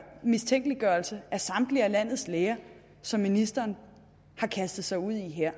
mistænkeliggørelse af samtlige landets læger som ministeren har kastet sig ud i her